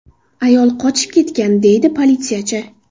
Ayol qochib ketgan”, deydi politsiyachi.